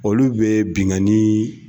Olu bɛ binkani